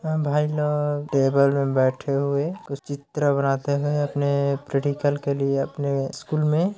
भाई लोग टेबल में बैठे हुए कुछ चित्र बनाते हुए अपने प्रैक्टिकल के लिए अपने स्कूल में--